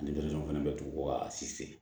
Ale fana bɛ dugu ka si seri